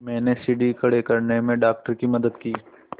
मैंने सीढ़ी खड़े करने में डॉक्टर की मदद की